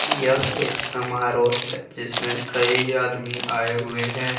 यह एक समारोह है जिसमें कई आदमी आए हुए हैं।